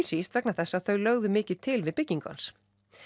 síst vegna þess að þau lögðu mikið til við byggingu hans